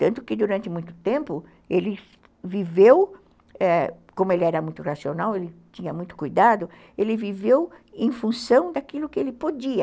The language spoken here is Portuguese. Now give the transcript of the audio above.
Tanto que, durante muito tempo, ele viveu, como ele era muito racional, ele tinha muito cuidado, ele viveu em função daquilo que ele podia.